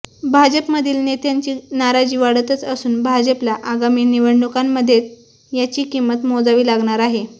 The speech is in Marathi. भाजपमधी नेत्यांची नाराजी वाढतच असून भाजपला आगामी निवडणुकांमध्ये याची किंमत मोजावी लागणार आहे